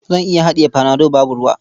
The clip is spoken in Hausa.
Zan iya haɗiye panado babu ruwa.